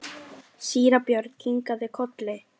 Síra Björn kinkaði kolli.